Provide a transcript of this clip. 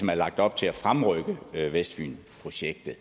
er lagt op til at fremrykke vestfynprojektet